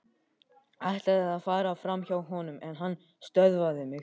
Ætlaði að fara framhjá honum en hann stöðvaði mig.